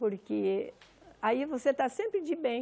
Porque aí você está sempre de bem.